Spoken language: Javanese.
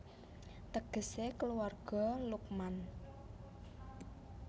Tegesé Kulawarga Luqman